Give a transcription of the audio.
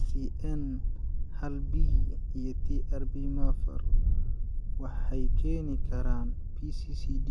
SCN haalB iyo TRPMafar, waxay keeni karaan PCCD.